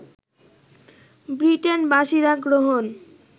ব্রিটেনবাসীরা গ্রহণ